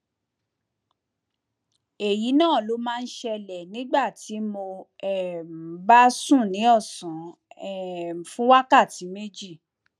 èyí náà ló máa ń ṣẹlẹ nígbà tí mo um bá sùn ní ọsán um fún wákàtí méjì